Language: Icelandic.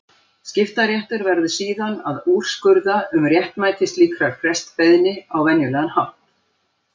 Skiptaréttur verður síðan að úrskurða um réttmæti slíkrar frestbeiðni á venjulegan hátt.